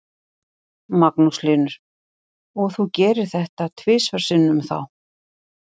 Magnús Hlynur: Og þú gerðir þetta tvisvar sinnum þá?